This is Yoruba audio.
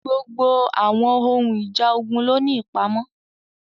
Gbogbo àwọn ohun ìjà ogun ló ní ìpamọ́.